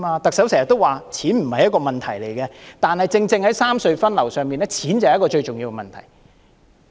特首經常說錢不是一個問題，但正正在三隧分流的問題上，錢是最重要的問題。